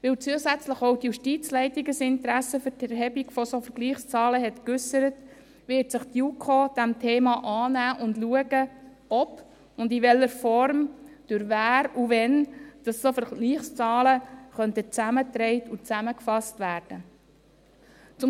Weil zusätzlich auch die Justizleitung ein Interesse an der Erhebung solcher Vergleichszahlen äusserte, wird sich die JuKo dieses Themas annehmen und schauen, ob und in welcher Form, durch wen und wann solche Vergleichszahlen zusammengetragen und zusammengefasst werden könnten.